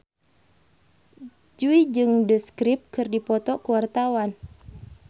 Jui jeung The Script keur dipoto ku wartawan